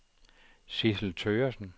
Sidsel Thøgersen